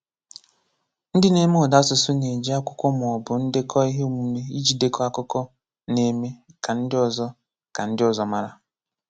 Ndị na-eme ụda asụsụ na-eji akwụkwọ ma ọ bụ ndekọ ihe omume iji jide akụkọ na-eme ka ndị ọzọ ka ndị ọzọ mara.